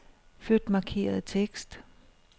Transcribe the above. Flyt markerede tekst.